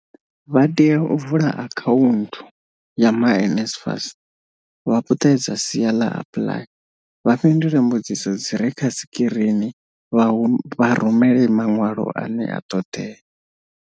Vha tea u vula akhaunthu ya my NSFAS, vha puṱedze sia ḽa apply, vha fhindule mbudziso dzi re kha sikirini vha rumele maṅwalo ane a ṱhoḓea.